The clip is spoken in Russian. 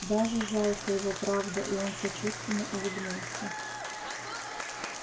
даже жалко его правда и он сочувственно улыбнулся